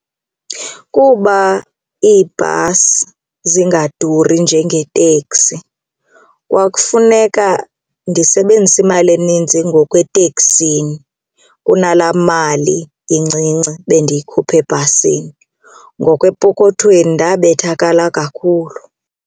Kuba iibhasi zingaduri njengeeteksi kwakufuneka ndisebenzise imali eninzi ngoku eteksini kunalaa mali incinci bendiyikhupha ebhasini ngoku epokothweni ndabethakala kakhulu.